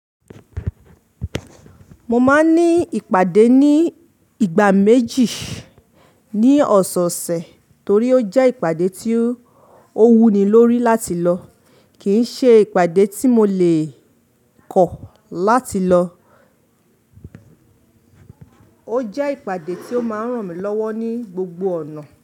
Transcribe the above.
Mo máa ní ìpàdé ní ìgbà méjì ní ọ̀sẹ̀osẹ̀ torí ó jẹ́ ìpàdé tí ó wuni lórí láti lọ, kì ṣe ìpàdé tí mo lè kọ̀ láti lọ. Ó jẹ́ ìpàdé tí ó máa ń ràn mí lọ́wọ́ ní gbogbo ọ̀nà.